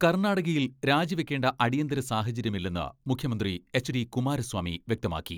കർണാടകയിൽ രാജിവെയ്ക്കേണ്ട അടിയന്തര സാഹചര്യമില്ലെന്ന് മുഖ്യമന്ത്രി എച്ച്.ഡി കുമാരസ്വാമി വ്യക്തമാക്കി.